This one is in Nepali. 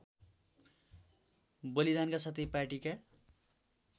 बलिदानका साथै पार्टीका